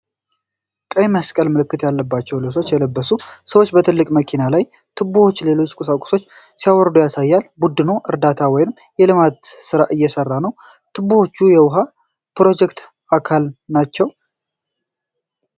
ቀይ መስቀል ምልክት ያለባቸው ልብሶች የለበሱ ሰዎች ከትልቅ መኪና ላይ ቱቦዎችንና ሌሎች ቁሳቁሶችን ሲያወርዱ ያሳያል። ቡድኑ እርዳታ ወይም የልማት ስራ እየሰራ ነው። ቱቦዎቹ የውሃ ፕሮጀክት አካል ናቸው?